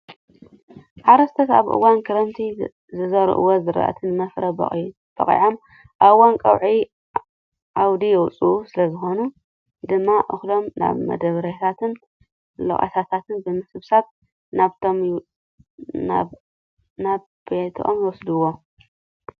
ሓረስቶስ ኣብ እዋን ክረምቲ ዝዘርእዎም ዝራእቲ ንመፍረ በቒዖም ኣብ እዋን ቆብዒ ኣውዲ የውፅኡ። ስለዝኾነ ድማ እኽሎም ናብ መዳበርያታትን ለቆታታትን ብምስብሳብ ናብ ቤቶም ይወስድዎም።